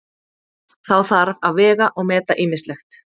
Þá þarf að vega og meta ýmislegt.